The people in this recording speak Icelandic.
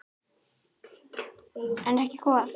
En ekki hvað?